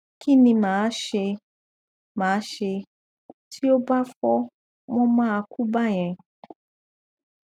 kí ni ma ṣe ma ṣe tí ó bá fọ wọn mà á kú báyẹn